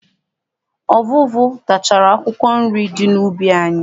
Ọvụvụ tachara akwụkwọ nri di n'ubi anyị.